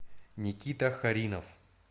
никита харинов